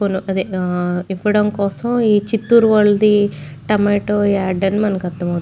అదె ఇప్పడం కోసం ఈ చిత్తూరు వాళ్లది టమాటో యాడ్ అని మనకి అర్థం --